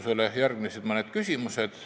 Sellele järgnesid mõned küsimused.